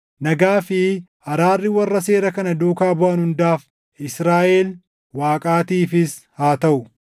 Nagaa fi araarri warra seera kana duukaa buʼan hundaaf, Israaʼel Waaqaatiifis haa taʼu.